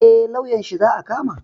Eh lauyanshi za a kama